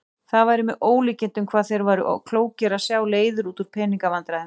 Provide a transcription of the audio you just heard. Það væri með ólíkindum hvað þeir væru klókir að sjá leiðir út úr pening- vandræðum.